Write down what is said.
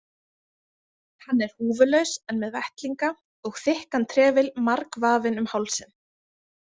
Hann er húfulaus en með vettlinga og þykkan trefil margvafinn um hálsinn.